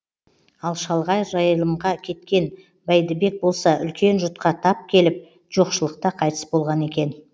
ал шалғай жайылымға кеткен бәйдібек болса үлкен жұтқа тап келіп жоқшылықта қайтыс болған екен